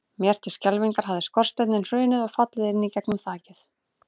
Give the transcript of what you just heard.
Mér til skelfingar hafði skorsteinninn hrunið og fallið inn í gegnum þakið.